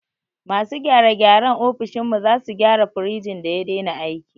Masu gyare gyaren ofishin mu sazu gyara firejin da ya dena aiki